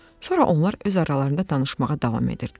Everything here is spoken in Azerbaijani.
Sonra onlar öz aralarında danışmağa davam edirdilər.